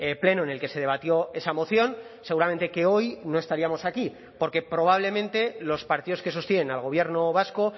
pleno en el que se debatió esa moción seguramente que hoy no estaríamos aquí porque probablemente los partidos que sostienen al gobierno vasco